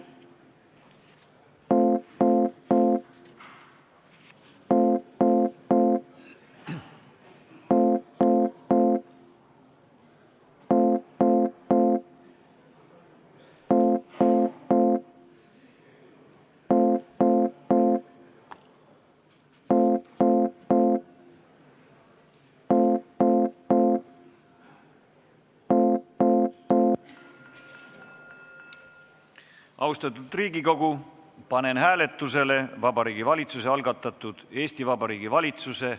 Austatud Riigikogu, panen hääletusele Vabariigi Valitsuse algatatud Eesti Vabariigi valitsuse ...